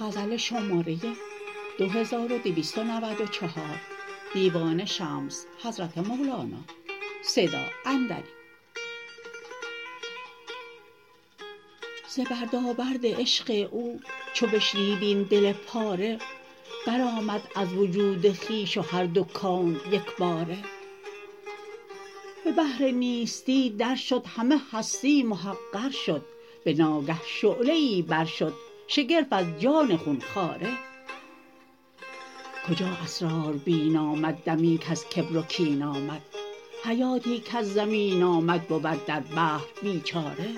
ز بردابرد عشق او چو بشنید این دل پاره برآمد از وجود خویش و هر دو کون یک باره به بحر نیستی درشد همه هستی محقر شد به ناگه شعله ای برشد شگرف از جان خون خواره کجا اسراربین آمد دمی کز کبر و کین آمد حیاتی کز زمین آمد بود در بحر بیچاره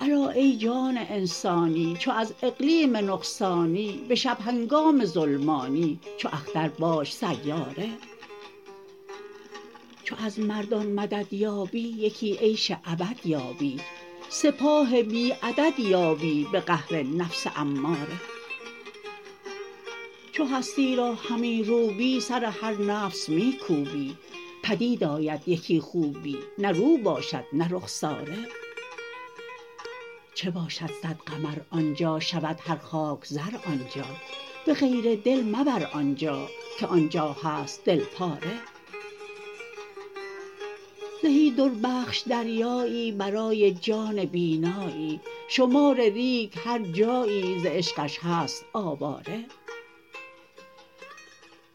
الا ای جان انسانی چو از اقلیم نقصانی به شب هنگام ظلمانی چو اختر باش سیاره چو از مردان مدد یابی یکی عیش ابد یابی سپاه بی عدد یابی به قهر نفس اماره چو هستی را همی روبی سر هر نفس می کوبی بدید آید یکی خوبی نه رو باشد نه رخساره چه باشد صد قمر آن جا شود هر خاک زر آن جا به غیر دل مبر آن جا که آن جا هست دل پاره زهی دربخش دریایی برای جان بینایی شمار ریگ هر جایی ز عشقش هست آواره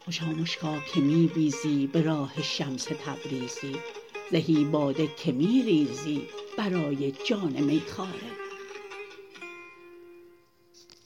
خوشا مشکا که می بیزی به راه شمس تبریزی زهی باده که می ریزی برای جان میخواره